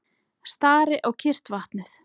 Stari á kyrrt vatnið.